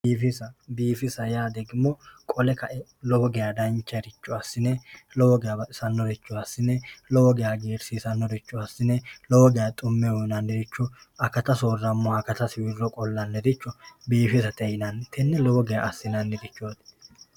Biifisa biifisa yaa degimo qole kae lowo geya dancharicho assine lowo geya baxisannoricho assine lowo geya hagiirsiisannoricho assine akata soorrammoha akata qolnlaniricho biifisate yinanni tenne lowo geya